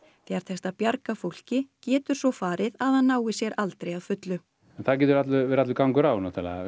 þegar tekst að bjarga fólki getur farið að það nái sér aldrei að fullu það getur verið allur gangur á